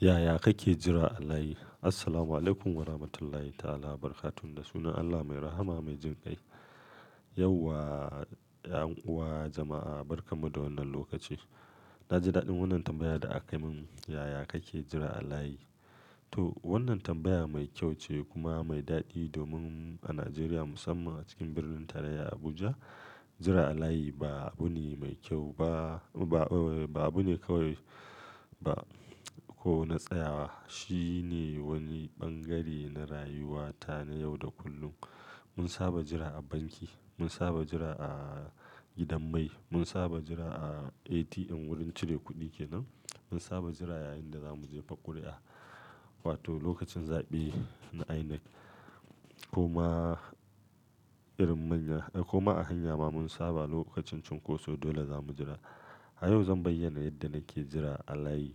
Yaya kake jira a layi? Assalamualaikum warahmatullahi ta'ala wabarakatuh. Da sunan Allah mai rahama, mai jin kai. Yau wa, 'yan'uwa jama'a, barka mu da wannan lokaci. Na ji daɗin wannan tambayar da aka yi min. Yaya kake jira a layi? To wannan tambaya mai kyau ce kuma mai daɗi domin a Najeriya musamman a cikin Birnin Tarayya Abuja, jira a layi ba abu ne mai kyau ba, ba, ba abu ne kawai ba ko na tsayawa. Shi ne wani bangare na rayuwata na yau da kullum. Mun saba jira a banki, mun saba jira a gidan mai, mun saba jira a ATM wurin cire kuɗi kenan, mun saba jira yayin da za mu je fakru'a wato lokacin zaɓe na INEC ko ma irin manya, eh ko ma a hanya ma mun saba lokacin cunkoso dole za mu jira. A yau zan bayyana yadda nake jira a layi,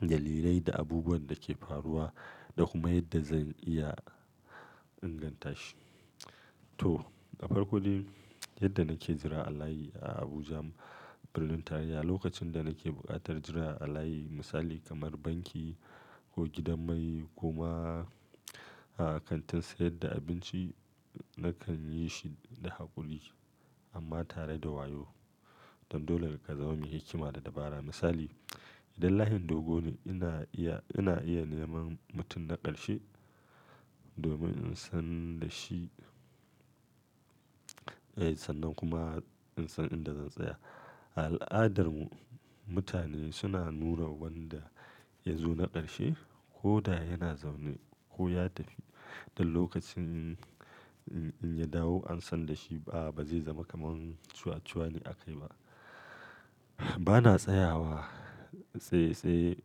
dalilai da abubuwan da ke faruwa da kuma yadda zan iya inganta shi. To, a farko dai yadda nake jira a layi a Abuja Birnin Tarayya, lokacin da nake buƙatar jira a layi misali kamar banki ko gidan mai ko ma a kantin sayar da abinci nakan yi shi da haƙuri amma tare da wayo. Don dole ka zama mai hikima da dabara. Misali, idan layin dogo ne ina iya, ina iya neman mutum na ƙarshe domin in san da shi, eh sannan kuma in san inda zan tsaya. A al'adarmu mutane suna nuna wanda ya zo na ƙarshe ko da yana zaune ko ya tafi. Don lokacin in ya dawo an san da shi ba zai zama kamar wani ciwuaciwane a kai ba. Bana tsayawa tsai tsai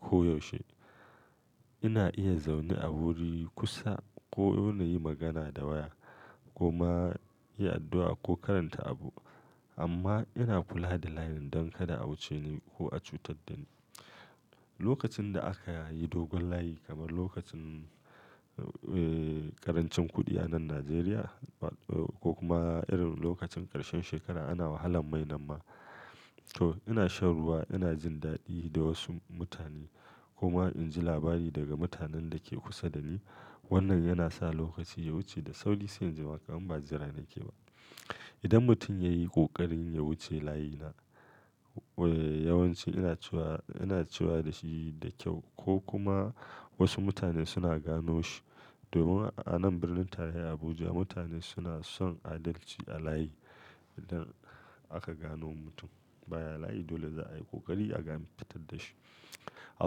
ko yaushe. Ina iya zaune a wuri kusa ko don na yi magana da waya ko ma yi addu'a ko karanta abu. Amma ina kula da layin don kada a wuce ni ko a cutar da ni. Lokacin da aka yi dogon layi kamar lokacin, eh karancin kuɗi a nan Najeriya ko kuma irin lokacin ƙarshen shekara ana wahalan mai nan ma. To ina shan ruwa, ina jin daɗi da wasu mutane ko ma in ji labari daga mutanen da ke kusa da ni. Wannan yana sa lokaci ya wuce da sauri sai in ji wa kamar ba jira nake ba. Idan mutum ya yi ƙoƙarin ya wuce layina, eh yawanci ina cewa, ina cewa da shi da kyau ko kuma wasu mutane suna gano shi. Domin a nan Birnin Tarayya Abuja mutane suna son adalci a layi. Idan aka gano mutum baya layi dole za a yi ƙoƙari a ga an fitadda shi. A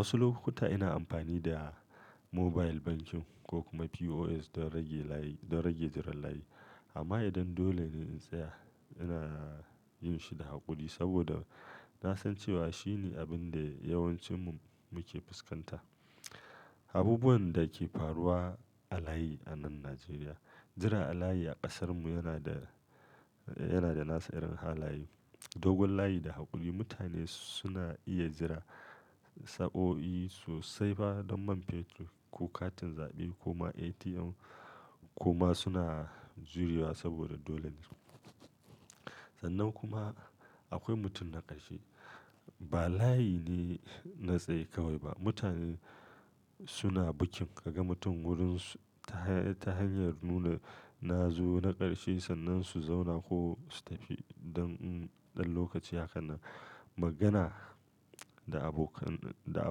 wasu lokuta ina amfani da mobile banking ko kuma POS don rage layi, don rage jiran layi. Amma idan dole ne in tsaya ina yin shi da haƙuri saboda na san cewa shi ne abin da yawancinmu muke fuskanta. Abubuwan da ke faruwa a layi a nan Najeriya. Jiran a layi a ƙasarmu yana da, yana da nasa irin halaye. Dogon layi da haƙuri mutane suna iya jira sa'o'i sosai ba don man fetur ko katin zaɓe ko ma ATM ko ma suna jurewa saboda dole ne. Sannan kuma akwai mutum na ƙarshe. Ba layi ne na tsaye kawai ba. Mutane suna bikin ka ga mutum wurin su ta hanyar nuna na zo na ƙarshe sannan su zauna ko su tafi. Don, don lokaci haka na magana da abokan, da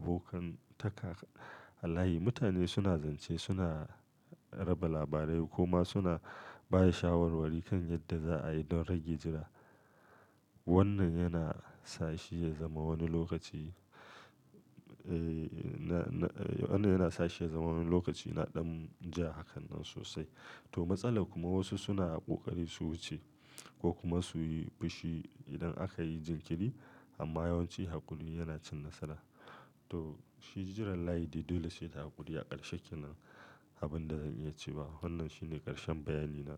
abokan taka a layi. Mutane suna zance, suna raba labarai ko ma suna baya shawarwari kan yadda za a yi don rage jira. Wannan yana sa shi ya zama wani lokaci, eh na, na, wannan yana sa shi ya zama wani lokaci na ɗan jaa haka nan sosai. To matsala kuma wasu suna ƙoƙari su wuce ko kuma su yi fishi idan aka yi jinkiri. Amma yawanci haƙuri yana cin nasara. To shi jiran layi dai dole sai da haƙuri a ƙarshe kenan. Abin da zan iya cewa wannan shine ƙarshen bayani na.